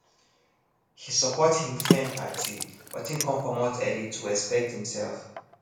he support him friend party but him come comot early to respect himself